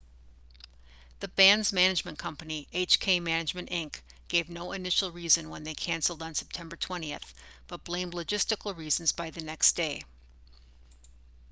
the band's management company hk management inc gave no initial reason when they canceled on september 20 but blamed logistical reasons by the next day